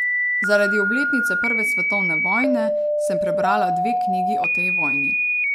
Zaradi obletnice prve svetovne vojne sem prebrala dve knjigi o tej vojni.